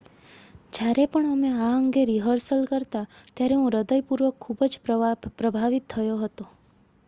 """જ્યારે પણ અમે આ અંગે રિહર્સલ કરતા ત્યારે હું હૃદયપૂર્વક ખૂબ જ પ્રભાવિત થયો હતો.""